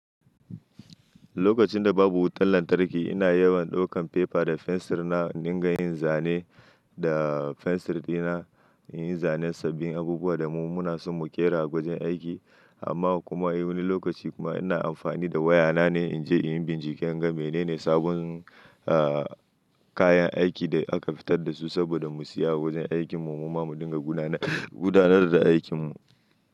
Lokacin da babu wutan lantarki ina yawan ɗaukan paper da fensir na in dinga yin zane da fensir ɗina in yi zane sabbin abubuwa da mu muna so mu ƙera a wajen aiki amma kuma a wani lokaci kuma ina amfani da waya na ne in je in yi bincike in ga menene sabon, ah, kayan aiki da aka fitar da su saboda mu siya a wajen aikin mu mu ma mu dinga gudanar, gudanar da aikin mu.